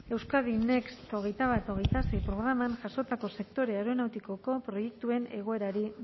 euskadi next hogeita bat hogeita sei programan jasotako sektore aeronautikoko proiektuen egoerari